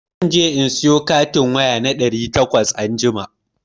Za je in sayo katin waya na ɗari takwas anjima.